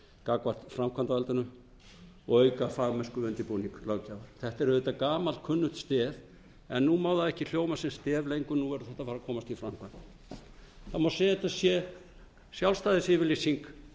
gagnvart framkvæmdarvaldinu og auka fagmennsku við undirbúning löggjafar þetta er auðvitað gamalkunnugt stef en nú má það ekki hljóma sem stef engu nú verður þetta að fara að komast í framkvæmd það má segja að þetta sé sjálfstæðisyfirlýsing